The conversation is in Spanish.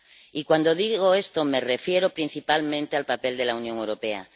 Y cuando digo esto me refiero principalmente al papel de la Unión Europea.